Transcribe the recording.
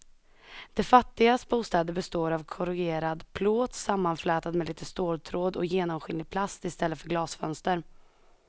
De fattigas bostäder består av korrugerad plåt sammanflätad med lite ståltråd och genomskinlig plast i stället för glasfönster.